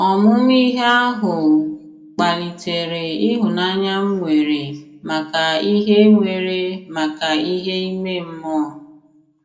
Ọmụmụ ihe ahụ kpalitere ịhụnanya m nwere maka ihe nwere maka ihe ime mmụọ